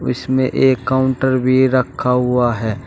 व इसमें एक काउंटर भी रखा हुआ है।